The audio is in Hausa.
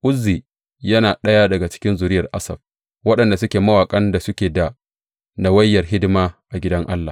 Uzzi yana ɗaya daga zuriyar Asaf, waɗanda suke mawaƙan da suke da nawayar hidima a gidan Allah.